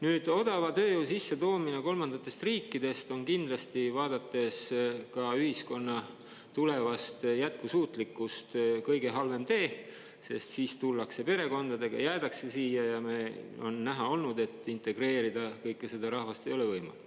Nüüd, odava tööjõu sissetoomine kolmandatest riikidest on kindlasti, vaadates ka ühiskonna tulevast jätkusuutlikkust, kõige halvem tee, sest siis tullakse perekondadega, jäädakse siia ja on näha olnud, et integreerida kõike seda rahvast ei ole võimalik.